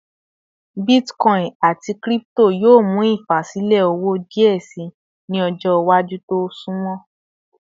Bitcoin ati crypto yoo mu ifasilẹ owo diẹ sii ni ọjọ iwaju ti o sunmọ